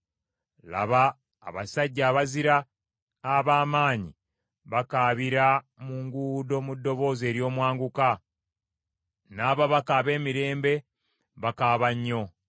Laba abasajja abazira ab’amaanyi bakaabira mu nguudo mu ddoboozi ery’omwanguka, n’ababaka ab’emirembe bakaaba nnyo.